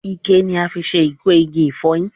Ikẹ ni a fi se iko igi ifoyin